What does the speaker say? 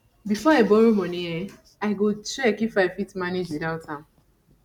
before i borrow money i go check if i fit manage without am